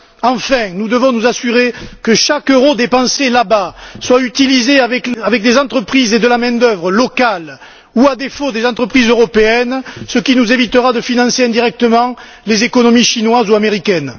Enfin, nous devons nous assurer que chaque euro dépensé là bas soit utilisé avec des entreprises et de la main d'œuvre locales ou, à défaut, avec des entreprises européennes, ce qui nous évitera de financer indirectement les économies chinoises ou américaines.